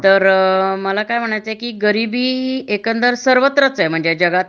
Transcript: तर मला काय म्हणायचं होत कि गरिबी सर्वत्र एकंदरीत म्हणजे जगात